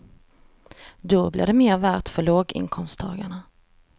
Då blir det mer värt för låginkomsttagarna.